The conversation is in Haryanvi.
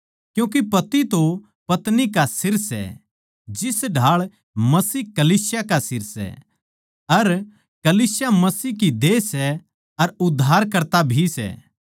क्यूँके पति तो पत्नी का सिर सै जिस ढाळ मसीह कलीसिया का सिर सै अर कलीसिया मसीह की देह सै अर उद्धारकर्ता भी सै